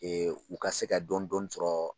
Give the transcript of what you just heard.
u ka se ka dɔni dɔni sɔrɔ